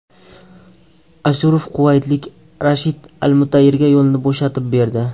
Ashurov quvaytlik Rashid Almutayriga yo‘lni bo‘shatib berdi.